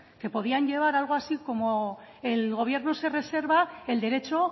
que podían llevar algo así como el gobierno se reserva el derecho